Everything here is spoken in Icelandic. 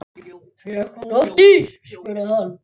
Fékk hún oft ís? spurði hann.